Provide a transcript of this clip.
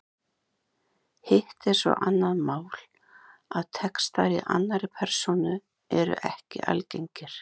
Hitt er svo annað mál að textar í annarri persónu eru ekki algengir.